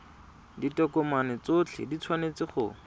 ditokomane tsotlhe di tshwanetse go